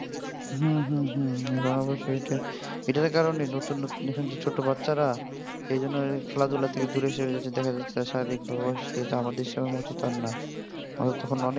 হম হম হম এখন অবশ্য এটা এটার কারণেই নতুন নতুন যে ছোট বাচ্চারা এইজন্য খেলাধুলা থেকে দূরে সরে যাচ্ছে. দেখা যাচ্ছে এরা শারীরিক ভাবে অসুস্থ হয়ে যাচ্ছে আমাদের সময়ের মতো আর না আমরা তখন অনেক